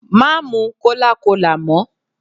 Má mu cólácolà mọ́.